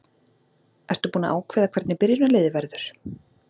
Ertu búinn að ákveða hvernig byrjunarliðið verður?